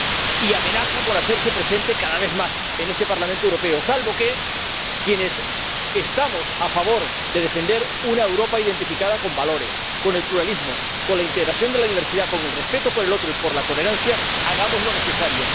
Y amenaza con hacerse presente cada vez más en este Parlamento Europeo, salvo que quienes estamos a favor de defender una Europa identificada con valores, con el pluralismo, con la integración de la diversidad, con el respeto por el otro y por la tolerancia hagamos lo necesario.